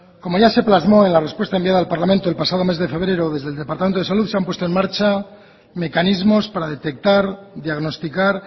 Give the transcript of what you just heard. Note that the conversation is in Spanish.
como ya se plasmó en la respuesta enviada al parlamento el pasado mes de febrero desde el departamento de salud se han puesto en marcha mecanismos para detectar diagnosticar